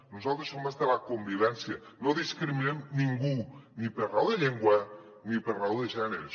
nosaltres som els de la convivència no discriminem ningú ni per raó de llengua ni per raó de gènere